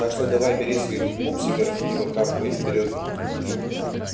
так что давай бери своих пупсиков и в охапку и вперёд